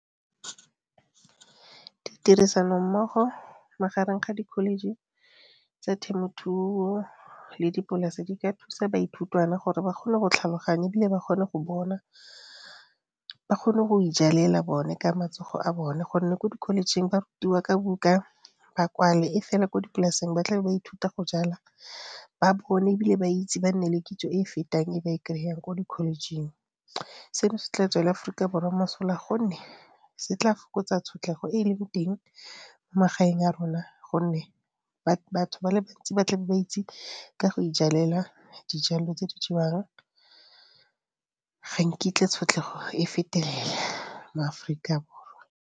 Ditirisanommogo magareng ga di-college tsa temothuo le dipolase di ka thusa baithutwana gore ba kgone go tlhaloganya e bile ba kgone go bona, ba kgone go ijalela bone ka matsogo a bone gonne ko di-college-eng ba rutiwa ka buka ba kwale e fela ko dipolaseng ba tla be ba ithuta go jala ba bone e bile ba itse ba nne le kitso e e fetang e ba e kry-ang ko di-college-eng. Seno se tla tswela Aforika Borwa mosola gonne se tla fokotsa tshotlego e e leng teng mo magaeng a rona gonne batho ba le bantsi ba tla be ba itse ka go ijalela dijalo tse di jewang. Ga nkitla tshotlego e fetelela mo Aforika Borwa.